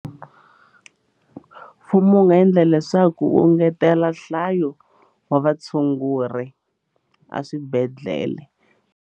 Mfumo wu nga endla leswaku u ngetela nhlayo wa vatshunguri a swibedhlele.